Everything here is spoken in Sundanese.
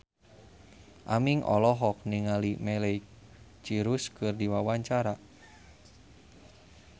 Aming olohok ningali Miley Cyrus keur diwawancara